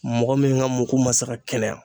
Mɔgɔ min gaa mugu ma se ka kɛnɛya